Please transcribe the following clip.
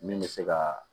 Min bɛ se ka